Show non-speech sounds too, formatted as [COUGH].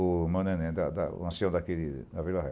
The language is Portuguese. [UNINTELLIGIBLE] O ancião daqui da Vila Ré.